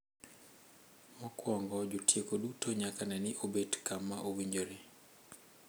Mokwongo, jotieko duto nyaka ne ni obet kama owinjore.